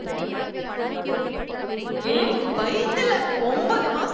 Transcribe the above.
ஏய் வயித்துல ஒன்பது மாச~